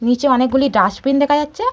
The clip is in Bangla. নিচে অনেকগুলি ডাস্টবিন দেখা যাচ্ছে-এ।